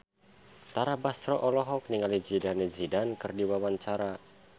Tara Basro olohok ningali Zidane Zidane keur diwawancara